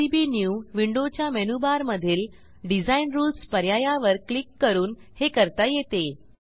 PCB new विंडोच्या मेनूबारमधील design Rulesपर्यायावर क्लिक करून हे करता येते